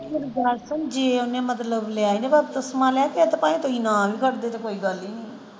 ਮੇਰੀ ਗੱਲ ਸੁਣ ਜੇ ਓਹਨੇ ਮਤਲਬ ਲਿਆ ਫਿਰ ਤੇ ਭਾਵੇਂ ਤੁਸੀਂ ਨਾ ਵੀ ਕਰਦੇ ਤੇ ਕੋਈ ਗੱਲ ਨਹੀਂ ਸੀ।